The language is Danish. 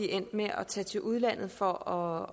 endt med at tage til udlandet for